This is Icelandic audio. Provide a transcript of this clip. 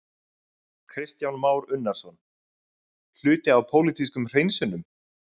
Kristján Már Unnarsson: Hluti af pólitískum hreinsunum?